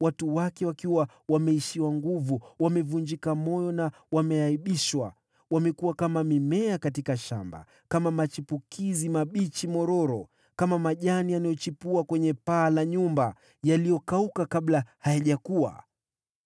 Watu wa miji hiyo wameishiwa nguvu, wanavunjika mioyo na kuaibishwa. Wao ni kama mimea katika shamba, kama machipukizi mororo ya kijani, kama majani yachipuayo juu ya paa la nyumba, ambayo hukauka kabla ya kukua.